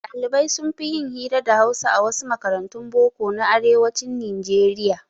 Ɗalibai sunfi yin hira da hausa a wasu makarantun boko na arewacin nijeriya